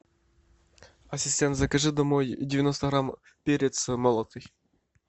ассистент закажи домой девяносто грамм перец молотый